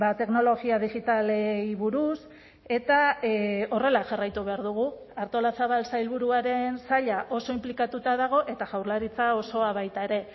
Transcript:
teknologia digitalei buruz eta horrela jarraitu behar dugu artolazabal sailburuaren saila oso inplikatuta dago eta jaurlaritza osoa baita ere